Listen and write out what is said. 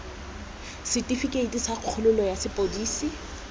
setifikeite sa kgololo sa sepodisi